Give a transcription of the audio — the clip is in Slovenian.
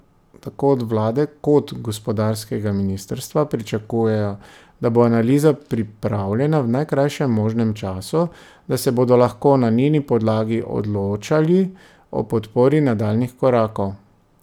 Tako od vlade kot gospodarskega ministrstva pričakujejo, da bo analiza pripravljena v najkrajšem možnem času, da se bodo lahko na njeni podlagi odločali o podpori nadaljnjih korakov.